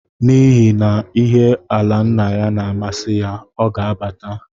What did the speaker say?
N’ihi ihe ala nna ya na-amasị ya, ọ ga abata